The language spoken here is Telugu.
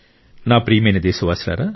నా ప్రియమైన దేశవాసులారా